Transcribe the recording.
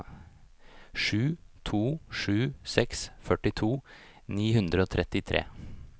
sju to sju seks førtito ni hundre og trettitre